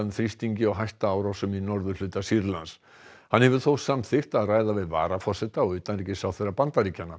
þrýstingi og hætta árásum í norðurhluta Sýrlands hann hefur þó samþykkt að ræða við varaforseta og utanríkisráðherra Bandaríkjanna